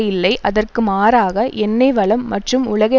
இல்லை அதற்கு மாறாக எண்ணெய் வளம் மற்றும் உலகை